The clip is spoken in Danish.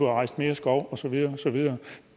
rejst mere skov og så videre og så videre